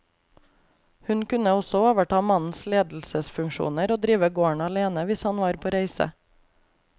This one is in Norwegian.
Hun kunne også overta mannens ledelsesfunksjoner og drive gården alene hvis han var på reise.